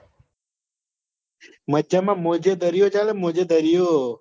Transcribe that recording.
મજામાં મોજે દરિયાચાલે મોજે દરિયો